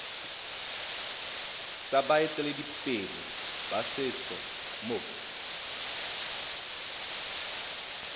tsa baeteledipele ba setso mo